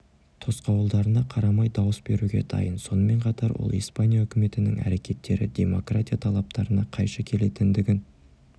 тосқауылдарына қарамай дауыс беруге дайын сонымен қатар ол испания үкіметінің әрекеттері демократия талаптарына қайшы келетіндігін